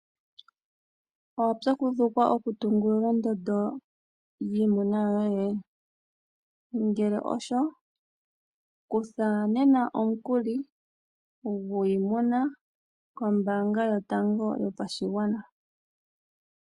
Owapyakudhukwa okutungulula ondondo yiimuna yoye? Ngele osho kutha nena omukuli gwiimuna koombaanga yotango yopashigwana.